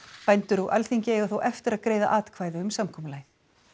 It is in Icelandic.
bændur og Alþingi eiga þó eftir að greiða atkvæði um samkomulagið